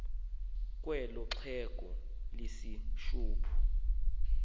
kwelo xhego lehishophu